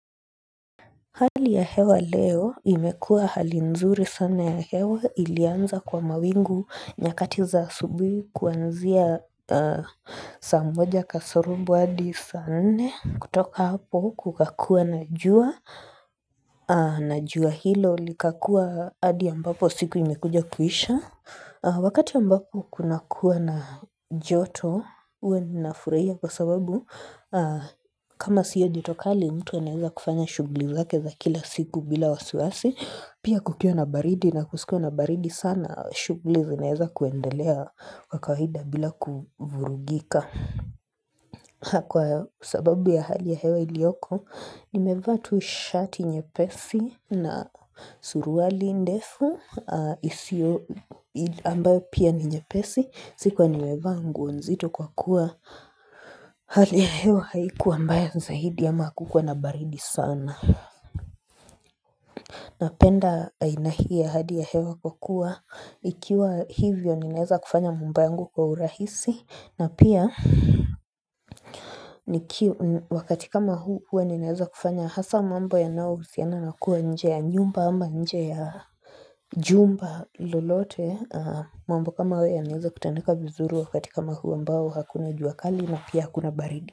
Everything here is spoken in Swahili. Hali ya hewa leo imekua hali nzuri sana ya hewa ilianza kwa mawingu nyakati za asubuhi kuanzia saa moja kasorobo hadi sa nne kutoka hapo kukakuwa na jua na jua hilo likakuwa hadi ambapo siku imekuja kuisha Wakati ambako kuna kuwa na joto huwa ninafurahia kwa sababu kama siyo joto kali mtu anaeza kufanya shughuli zake za kila siku bila wasiwasi Pia kukiwa na baridi na kusikue na baridi sana shughuli zinaeza kuendelea kwa kawaida bila kuvurugika Kwa sababu ya hali ya hewa ilioko Nimevaa tu shati nyepesi na suruali ndefu isio ambayo pia ni nyepesi sikuwa nimevaa nguo nzito kwa kuwa Hali ya hewa haikuwa mbaya zaidi ama hakukua na baridi sana Napenda aina hii ya hadi ya hewa kwa kuwa Ikiwa hivyo ninaeza kufanya mambo yangu kwa urahisi na pia wakati kama huu huwa ninaeza kufanya hasa mambo yanao husiana na kuwa nje ya nyumba ama nje ya jumba lolote mambo kama haya yanaeza kutendeka vizuri wakati kama huu ambao hakuna jua kali na pia hakuna baridi.